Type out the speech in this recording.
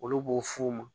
Olu b'u f'u ma